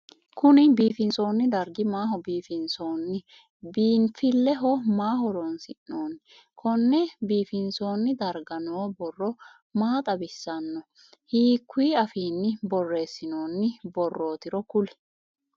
Kunni biifinsoonni dargi maaho biifinsoonni? Biinfileho maa horoonsi'noonni? Konne biifinsoonni darga noo borro maa xawisano? Hiikuyi afiinni boreesinnonni borootiro kuli?